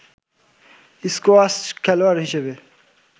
squash খেলোয়াড় হিসেবে